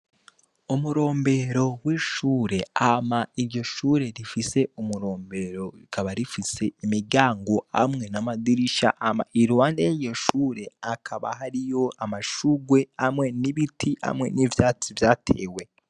Umurombero w'ishure, hama iryo shure rifise umurombero rikaba rifise imiryango hamwe n'amadirisha. Hama iruhande y'iryo shure hakaba hariyo amashugwe hamwe n'ibiti hamwe n'ivyatsi vyatewe.